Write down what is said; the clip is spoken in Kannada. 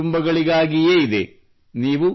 ಸಾಮಾನ್ಯ ಕುಟುಂಬಗಳಿಗಾಗಿಯೇ ಇದೆ